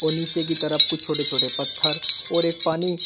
वह नीचे की तरफ कुछ छोटे छोटे पत्थर और एक पानी--